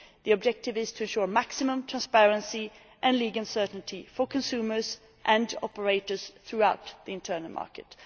The objective is to ensure maximum transparency and legal certainty for consumers and operators throughout the internal market.